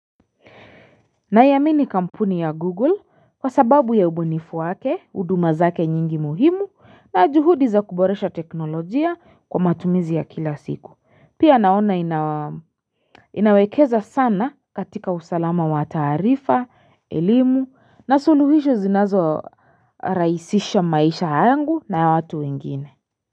Naiamini kampuni ya Google kwa sababu ya ubunifu wake, huduma zake nyingi muhimu na juhudi za kuboresha teknolojia kwa matumizi ya kila siku. Pia naona inawekeza sana katika usalama wa taarifa, elimu na suluhisho zinazorahisisha maisha yangu na ya watu wengine.